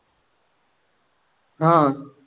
हा